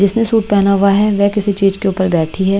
जिसने सूट पहना हुआ है वह किसी चीज के ऊपर बैठी है।